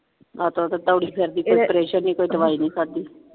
ਤੇ ਦੋੜੀ ਫਿਰਦੀ ਕੋਈ operation ਨਹੀਂ ਕੋਈ ਦਵਾਈ ਨੀ ਖਾਦੀ।